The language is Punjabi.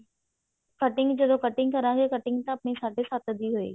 cutting ਜਦੋਂ cutting ਕਰਾਂਗੇ cutting ਤਾਂ ਆਪਣੀ ਸਾਢੇ ਸੱਤ ਦੀ ਹੋਇਗੀ